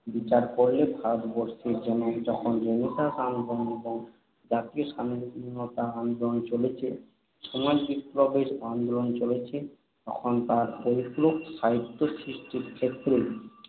বিচার করলে ভারতবর্ষে যখন রেনেসাঁস আন্দোলন এবং জাতীয় স্বাধীনতা আন্দোলন চলছে, সমাজবিপ্লবের আন্দোলন চলছে, তখন তার পরিপূরক সাহিত্য সৃষ্টির ক্ষেত্রে